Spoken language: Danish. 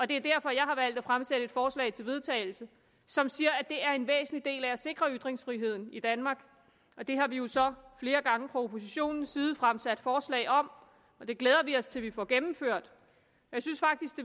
det er derfor jeg har valgt at fremsætte et forslag til vedtagelse som siger at det er en væsentlig del af at sikre ytringsfriheden i danmark det har vi jo så flere gange fra oppositionens side fremsat forslag om og det glæder vi os til vi får gennemført jeg synes faktisk